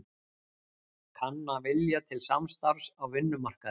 Kanna vilja til samstarfs á vinnumarkaði